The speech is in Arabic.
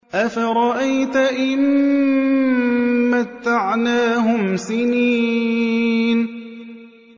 أَفَرَأَيْتَ إِن مَّتَّعْنَاهُمْ سِنِينَ